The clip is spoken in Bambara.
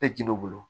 E jin'u bolo